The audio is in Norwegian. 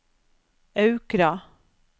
Aukra